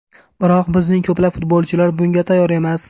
Biroq bizning ko‘plab futbolchilar bunga tayyor emas.